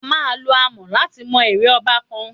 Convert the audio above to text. A máa lo àmọ̀ láti mọ ère ọba kan.